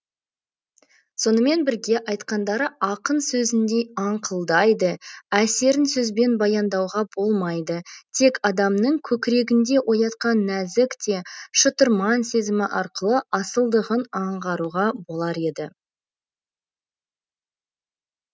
сонымен бірге айтқандары ақын сөзіндей аңқылдайды әсерін сөзбен баяндауға болмайды тек адамның көкірегінде оятқан нәзік те шытырман сезімі арқылы асылдығын аңғаруға болар еді